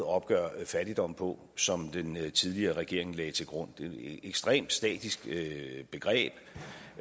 at opgøre fattigdom på som den tidligere regering lagde til grund det er et ekstremt statisk begreb